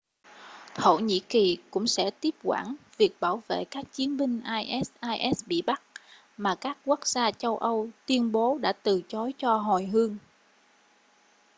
thổ nhĩ kỳ cũng sẽ tiếp quản việc bảo vệ các chiến binh isis bị bắt mà các quốc gia châu âu tuyên bố đã từ chối cho hồi hương